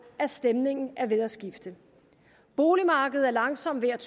at stemningen er ved at skifte boligmarkedet er langsomt ved at